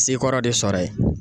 Sekɔrɔ de sɔrɔ ye.